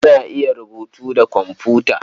Ana iya rubutu da komfuta.